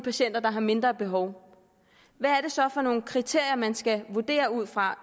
patienter der har mindre behov hvad er det så for nogle kriterier man skal vurdere ud fra